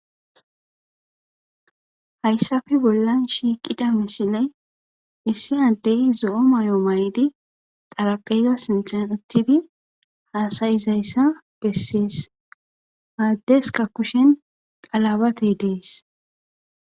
Haysappe bollan shiqida misiley issi Adey zo'o maya mayidi xarapheza sinthan uttidi hasayizaysa beses ha adeska kushen qalabatay des